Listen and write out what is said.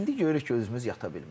İndi görürük ki, özümüz yata bilmirik.